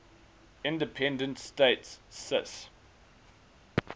independent states cis